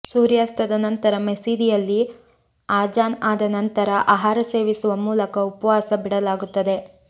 ಸೂರ್ಯಾಸ್ತದ ನಂತರ ಮಸೀದಿಯಲ್ಲಿ ಆಜಾನ್ ಆದ ನಂತರ ಆಹಾರ ಸೇವಿಸುವ ಮೂಲಕ ಉಪವಾಸ ಬಿಡಲಾಗುತ್ತದೆ